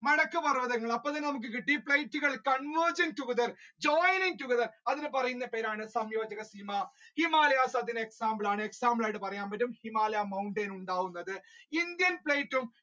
നടക്ക് പർവതങ്ങൾ convergent together, joining together അതിനെ പറയുന്ന പേരാണ് സംയോജക സീമ ഹിമാലയാസ് അതിന്റെ example ആണ് example ആയിട്ട് പറയാൻ പറ്റും himalaya mountain ഉണ്ടാകുന്നത്